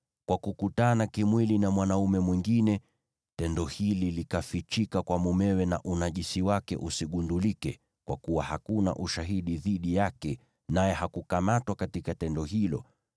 kwa kukutana kimwili na mwanaume mwingine, tendo hili likafichika kwa mumewe na unajisi wake usigundulike (kwa kuwa hakuna ushahidi dhidi yake, naye hakukamatwa katika tendo hilo),